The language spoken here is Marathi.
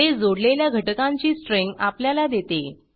हे जोडलेल्या घटकांची स्ट्रिंग आपल्याला देते